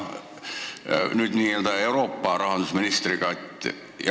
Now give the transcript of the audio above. Selle asemel hakkab olema n-ö Euroopa rahandusminister.